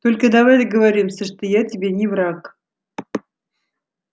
только давай договоримся что я тебе не враг